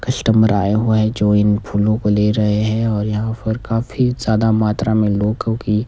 customer आए हुए है जो इन फूलो को ले रहे हैं और यहां पर काफी ज्यादा मात्रा मे लोगों की --